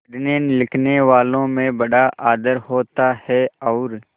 पढ़नेलिखनेवालों में बड़ा आदर होता है और